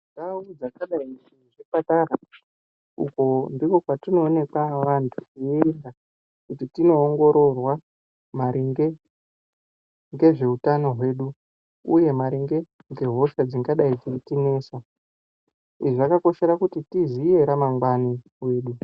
Ndau dzakadai nezvipatara uko ndiko kwatinoonekwa vantu teienda kuti tinoongororwa maringe ngezveutano hwedu uye maringe ngehosha dzingadai dzeitinesa. Izvi zvakakoshera kuti tiziye ramangwani redu.